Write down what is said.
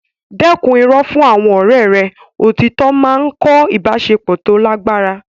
Dẹ́kun irọ́ fún àwọn ọ̀rẹ́ rẹ; Òtítọ́ máa ń kọ́ ìbáṣepọ̀ tó lágbára.